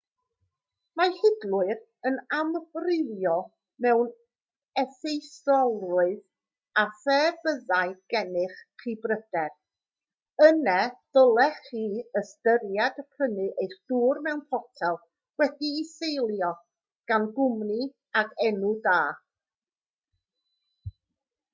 mae hidlwyr yn amrywio mewn effeithiolrwydd a phe byddai gennych chi bryder yna dylech chi ystyried prynu eich dŵr mewn potel wedi'i selio gan gwmni ag enw da